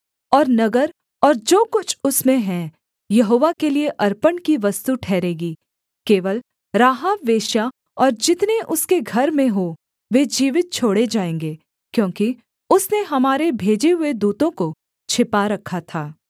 और नगर और जो कुछ उसमें है यहोवा के लिये अर्पण की वस्तु ठहरेगी केवल राहाब वेश्या और जितने उसके घर में हों वे जीवित छोड़े जाएँगे क्योंकि उसने हमारे भेजे हुए दूतों को छिपा रखा था